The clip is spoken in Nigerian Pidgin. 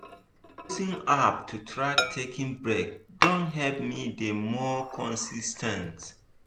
using app to track taking breaks don help me dey more consis ten t.